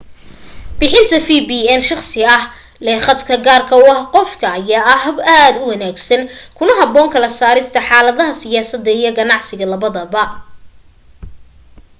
bixinta vpn shakhsi ah leh khadka gaarka u ah qofka ayaa ah hab aad u wanaagsan kuna haboon kala saarista xaladaha siyaasada iyo ganacsiga labadaba